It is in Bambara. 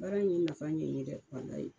Baara in ye nafa ɲɛ in ye dɛ walayi.